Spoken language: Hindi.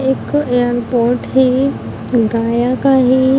एक यहाँ बोट है | गाया का है।